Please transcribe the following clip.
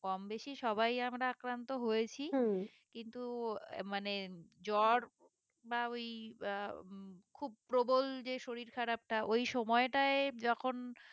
কম বেশি সবাই আমরা আক্রান্ত হয়েছি কিন্তু আহ মানে জ্বর বা ওই আহ খুব প্রবল যে শরীর খারাপটা ওই সময়ে টাই যখন